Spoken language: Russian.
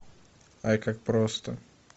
ай как просто